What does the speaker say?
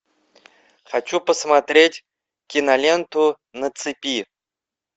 хочу посмотреть киноленту на цепи